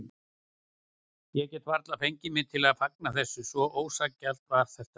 Ég gat varla fengið mig til að fagna þessu, svo ósanngjarnt var þetta.